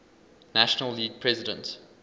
national league president